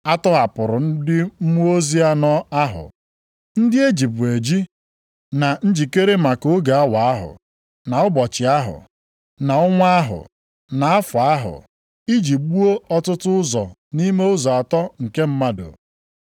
A tọhapụrụ ndị mmụọ ozi anọ ahụ, ndị e jibu eji na njikere maka oge awa ahụ, na ụbọchị ahụ, na ọnwa ahụ, na afọ ahụ, iji gbuo otu ụzọ nʼime ụzọ atọ nke mmadụ.